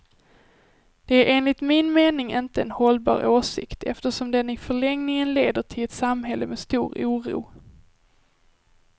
Det är enligt min mening inte en hållbar åsikt, eftersom den i förlängningen leder till ett samhälle med stor oro.